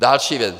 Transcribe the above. Další věc.